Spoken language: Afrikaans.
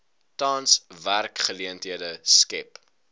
tans werksgeleenthede skep